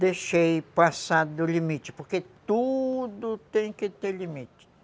deixei passar do limite, porque tudo tem que ter limite.